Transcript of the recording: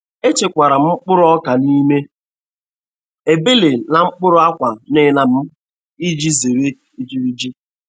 E chekwara m mkpụrụ ọka n'ime ebele n'okpuru akwa nina m iji zere ijiriji.